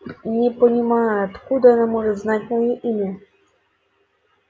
не понимаю откуда она может знать моё имя